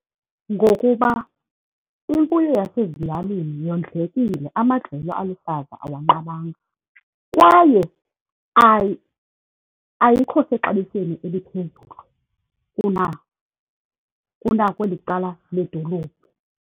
Ngokuba imfuyo yasezilalini yondlekile, amadlelo aluhlaza awanqabanga, kwaye ayikho sexabisweni eliphezulu kunakweli cala ledolophu.